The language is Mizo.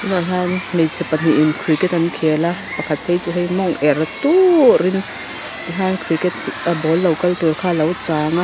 tunah hian hmeichhe pahnihin cricket an khela pakhat phei chu hei mawng er turhin tikhan cricket ball lo kal tur kha lo changa.